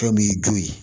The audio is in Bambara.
Fɛn m'i jo ye